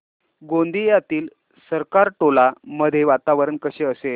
गोंदियातील सरकारटोला मध्ये वातावरण कसे असेल